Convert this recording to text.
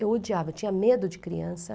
Eu odiava, eu tinha medo de criança.